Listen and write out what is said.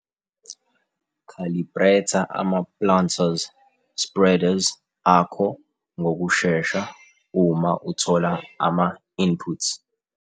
Khalibretha ama-planters - spreaders akho ngokushesha uma uthola ama-inputs.